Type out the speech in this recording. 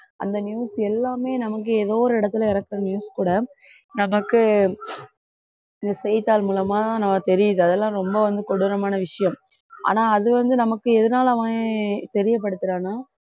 அந்த news எல்லாமே நமக்கு ஏதோ ஒரு இடத்துல இருக்குற news கூட நமக்கு இந்த செய்தித்தாள் மூலமா நமக்கு தெரியுது அதெல்லாம் ரொம்ப வந்து கொடூரமான விஷயம் ஆனா அது வந்து நமக்கு எதனால அவன் தெரியப்படுத்துறான்னா